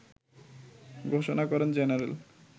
ঘোষণা করেন জেনারেল